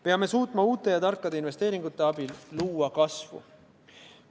Peame suutma uute ja tarkade investeeringute abil luua kasvu.